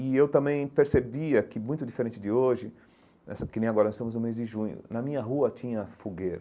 E eu também percebia que, muito diferente de hoje, essa que nem agora estamos no mês de junho, na minha rua tinha fogueira.